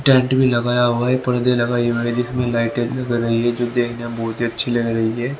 Tent भी लगाया हुआ है पर्दे लगाए हुए हैं जिसमें लाइटें दिख रही है जो देखने में बहुत ही अच्छी लग रही है।